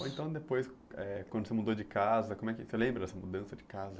Ou então depois, eh quando você mudou de casa, como é que você lembra dessa mudança de casa?